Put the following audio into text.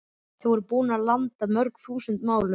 Þeir voru búnir að landa mörg þúsund málum.